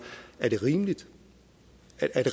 alt